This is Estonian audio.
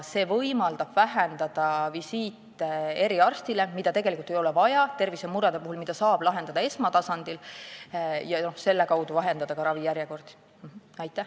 See võimaldab vähendada eriarsti visiite, mida ei ole vaja nende tervisemurede puhul, mida saab lahendada esmatasandil, ja selle kaudu ka ravijärjekordi lühendada.